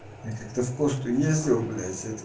я как-то в косту ездил блять это